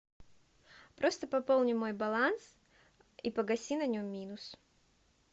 просто пополни мой баланс и погаси на нем минус